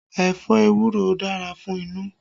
Ẹ̀fọ́ ewuro dára fún inú